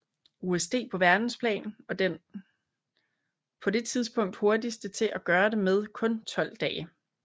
USD på verdensplan og den på det tidspunkt hurtigste til at gøre det med kun 12 dage